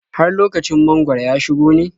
Har lokacin mangwaro ya shigo ne?